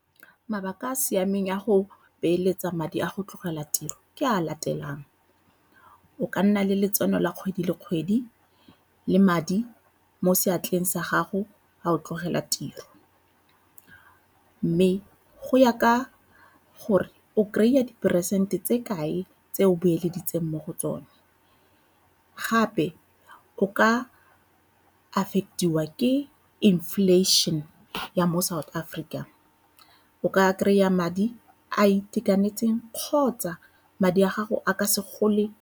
Mabaka a a siameng a go beeletsa madi a go tlogela tiro ke a a latelang, o ka nna le letseno la kgwedi le kgwedi le madi mo seatleng sa gago a o tlogela tiro mme go ya ka gore o kry-a diperesente tse kae tse o beeleditseng mo go tsone. Gape o ka affect-iwa ke inflation ya mo South Africa, o ka kry-a madi a itekanetseng kgotsa madi a gago a ka se gole.